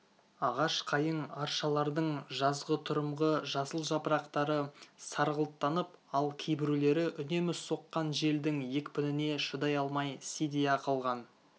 ағаш қайың аршалардың жазғытұрымғы жасыл жапырақтары сарғылттанып ал кейбіреулері үнемі соққан желдің екпініне шыдай алмай сидия қалған